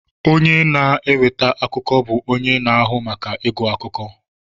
Onye na-eweta akụkọ bụ onye na-ahụ maka ịgụ akụkọ